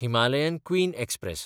Himalayan Queen express